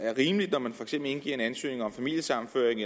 er rimeligt når man for eksempel indgiver en ansøgning om familiesammenføring